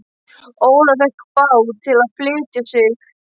Ólafur fékk bát til að flytja sig.